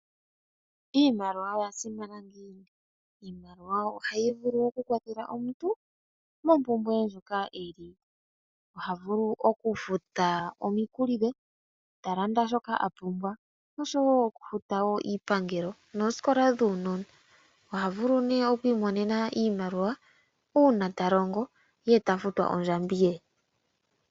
Iimaliwa oya simana ngiini, iimaliwa ohayi vulu oku kwathela omuntu moompumbwe dhoka eli, oha vulu okufuta omikuli dhe, talanda shoka apumbwa, osho woo okufuta woo iipangelo, noosikola dhuunona. Oha vulu nee okwiimonena iimaliwa uuna talongo, ye tafutwa ondjambi ye.